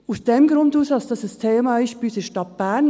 – Aus dem Grund ist dies ein Thema bei uns in der Stadt Bern.